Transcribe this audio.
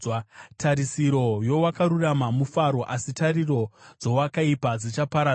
Tarisiro yowakarurama mufaro, asi tariro dzowakaipa dzichaparadzwa.